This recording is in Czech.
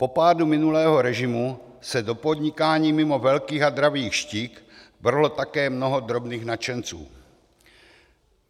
Po pádu minulého režimu se do podnikání mimo velkých a dravých štik vrhlo také mnoho drobných nadšenců.